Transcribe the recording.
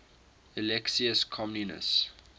alexius comnenus